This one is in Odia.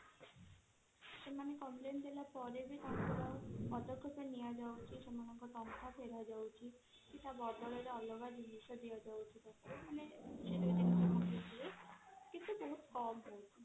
ସେମାନେ complain ଦେଲା ପରେ ବି ତାଙ୍କର ପଦକ୍ଷେପ ନିଆଯାଉଛି ସେମାନଙ୍କ ଟଙ୍କା ଫେରା ଯାଉଛି କି ତା ବଦଳ ରେ ଅଲଗା ଜିନିଷ ଦିଆ ଯାଉଛି କିନ୍ତୁ ବହୁତ କମ ହଉଛି